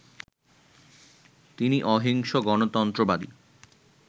তিনি অহিংস গণতন্ত্রবাদী